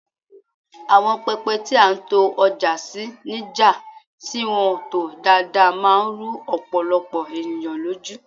awon pepe ti a n to oja si ni ja ti won to daadaa man ru opolopo eniyan loju